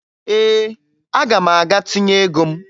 Ee, aga m aga tinye ego m